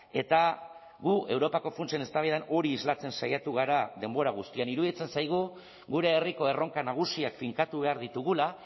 eta gu europako funtsen eztabaidan hori islatzen saiatu gara denbora guztian iruditzen zaigu gure herriko erronka nagusiak finkatu behar ditugula